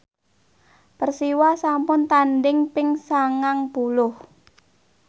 Persiwa sampun tandhing ping sangang puluh